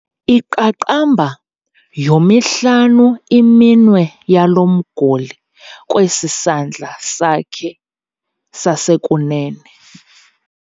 Iqaqamba yomihlanu iminwe yalo mguli kwesi sandla sakhe sasekunene.